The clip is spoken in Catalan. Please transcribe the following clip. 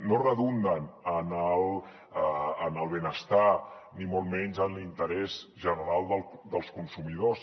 no redunden en el benestar ni molt menys en l’interès general dels consumidors